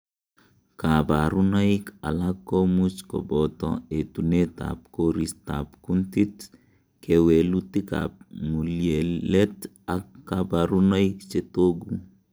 Koborunoik alak komuch koboto etunetab koristab kuntit, kewelutikab ng'ulyelet ak koborunoik chetogu.